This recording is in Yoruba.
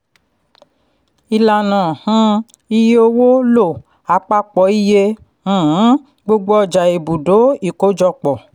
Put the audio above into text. ìlànà um iye owó lo àpapọ iye um gbogbo ọjà ibùdó ìkójọpọ̀.